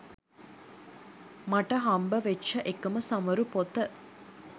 මට හම්බ වෙච්ච එකම සමරු පොත.